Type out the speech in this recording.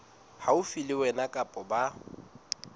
haufi le wena kapa ba